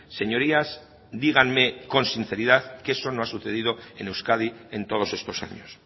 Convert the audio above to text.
señorías díganme con sinceridad que eso no ha sucedido en euskadi en todos estos años